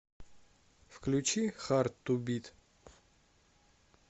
включи хард ту бит